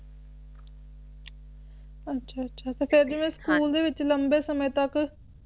ਅੱਛਾ-ਅੱਛਾ ਤੇ ਫੇਰ ਜਿਵੇਂ ਸਕੂਲ ਦੇ ਵਿਚ ਲੰਬੇ ਸਮੇ ਤੱਕ